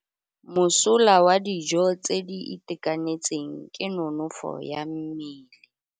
Mosola wa dijô tse di itekanetseng ke nonôfô ya mmele.